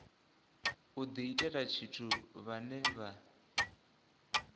u diitela tshithu vhane vha